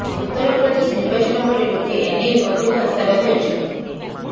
ଉତ୍ତରପ୍ରଦେଶ ନିର୍ବାଚନ ପରେ ଲୋକେ ଏନେଇ ଅଧିକ ଆଶାବାଦୀ ଅଛନ୍ତି